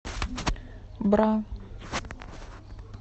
бра